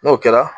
N'o kɛra